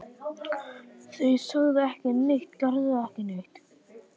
Þau sögðu ekki neitt, gerðu ekki neitt.